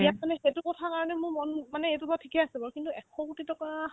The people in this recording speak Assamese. ইয়াত আছানে সেইটো কথাৰ কাৰণে মোৰ মন মানে সেইটো বাৰু ঠিকে আছে বাৰু কিন্তু এশকোটি টকা